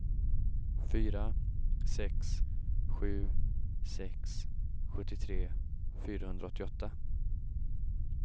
fyra sex sju sex sjuttiotre fyrahundraåttioåtta